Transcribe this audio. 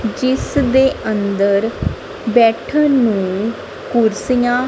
ਜਿਸ ਦੇ ਅੰਦਰ ਬੈਠਨ ਨੂੰ ਕੁਰਸੀਆਂ --